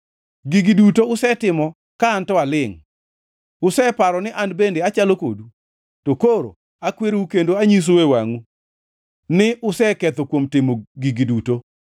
Gigi duto usetimo ka an to alingʼ; useparo ni an bende achalo kodu. To koro akwerou kendo anyisou e wangʼu ni useketho kuom timo gigo duto.